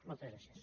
moltes gràcies